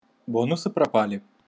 бонусы пропали